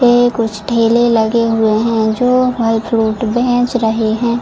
ये कुछ ठेले लगे हुवे है जो फल फ्रूट बेहेच रहे है।